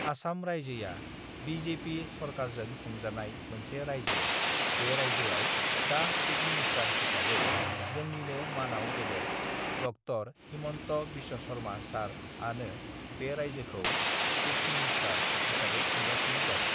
आसाम रायजोया B J P (BJP) सरकारजों खुंजानाय मोनसे रायजो बे रायजोआव दा सिप मिनिस्टार (chief minister) हिसाबै जोंनिनो मानाव गेदेत डक्टर (Dr.) हिमन्त बिश्वशर्मा सार (sir) आनो बे रायजोखौ [ सिप मिनिस्टार (chief minister) हिसाबै खुंगासिनो दङ ।